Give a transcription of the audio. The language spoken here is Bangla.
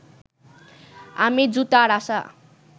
আমি জুতার আশা